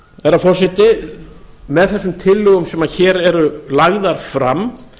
herra forseti með þessum tillögum sem hér eru lagðar fram